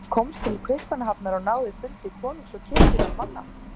Hann komst til Kaupmannahafnar og náði fundi konungs og kirkjunnar manna.